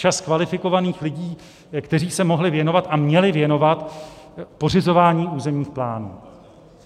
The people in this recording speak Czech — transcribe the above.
Čas kvalifikovaných lidí, kteří se mohli věnovat a měli věnovat pořizování územních plánů.